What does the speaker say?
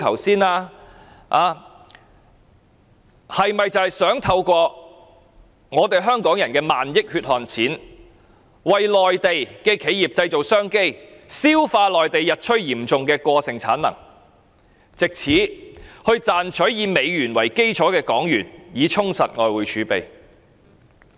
是否想透過香港人的萬億元血汗錢為內地的企業製造商機，消化內地日趨嚴重的過剩產能，藉此賺取以美元為基礎的港元，以充實外匯儲備？